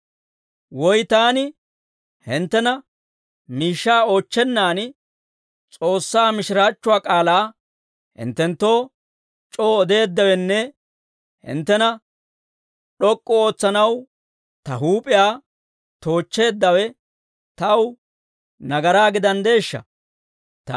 Woy taani hinttena miishshaa oochchennan, S'oossaa mishiraachchuwaa k'aalaa hinttenttoo c'oo odeeddawenne hinttena d'ok'k'u ootsanaw ta huup'iyaa toochcheeddawe taw nagaraa gidanddeeshsha?